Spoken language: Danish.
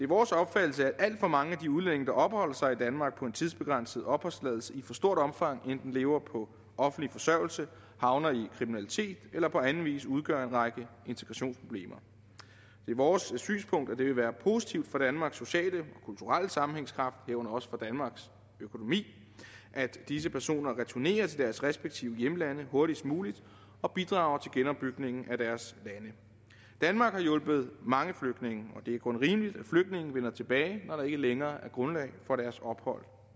vores opfattelse at alt for mange af de udlændinge der opholder sig i danmark på en tidsbegrænset opholdstilladelse i for stort omfang enten lever på offentlig forsørgelse havner i kriminalitet eller på anden vis udgør en række integrationsproblemer det er vores synspunkt at det vil være positivt for danmarks sociale og kulturelle sammenhængskraft herunder også for danmarks økonomi at disse personer returnerer til deres respektive hjemlande hurtigst muligt og bidrager til genopbygningen af deres lande danmark har hjulpet mange flygtninge og det er kun rimeligt at flygtninge vender tilbage når der ikke længere er grundlag for deres ophold